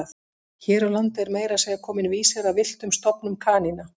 Hér á landi er meira að segja kominn vísir að villtum stofnum kanína.